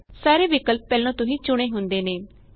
ਸਾਰੇ ਵਿਕਲਪ ਪਹਿਲੇ ਤੋਂ ਹੀ ਚੁਣੇ ਹੁੰਦੇ ਨੇਂ